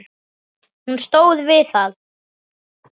Hún stóð við það!